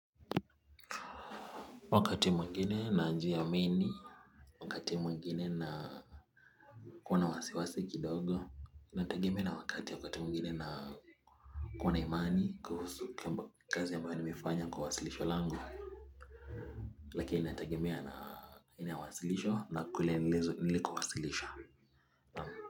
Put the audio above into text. Wakati mwengine na njia mengi wakati mwengine na kuona wasiwasiki dogo inatagemi na wakati wakati mwengine na kuona imani kuhusu kama kazi yamba wanimifanya kuwasilisho lango lakini inatagemi na inawasilisho na kule nilikuwasilisha.